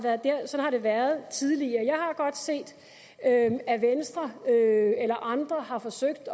været sådan tidligere jeg har godt set at venstre eller andre har forsøgt